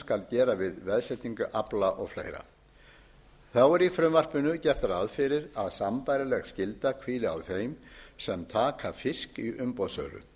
skal gera við veðsetningu afla og fleira þá er í frumvarpinu gert ráð fyrir að sambærileg skylda hvíli á þeim sem taka fisk í umboðssölu